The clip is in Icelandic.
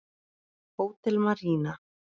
Hótel Marína.